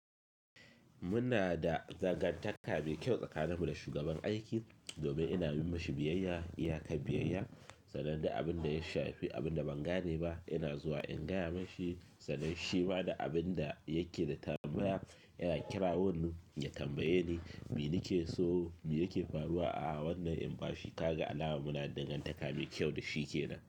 Muna da dangantaka mai kyau tsakaninmu da shugaban aiki. Domin ina yi mashi biyayya, iya ka biyayya, sanan da abin da ya shafi abin da ban gane ba, yana zuwa in gaya mashi sanan shi ma da abin da yake da tambaya yana kira wannan ya tambaye ni me nike so me yake faruwa a wannan yanɓashi. Kaga alama muna da dangantaka mai kyau da shi kenan?